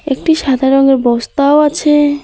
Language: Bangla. একটি সাদা রঙের বস্তাও আছে।